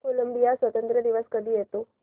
Colombia स्वातंत्र्य दिवस कधी येतो